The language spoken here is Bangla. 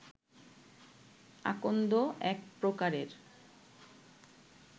আকন্দ এক প্রকারের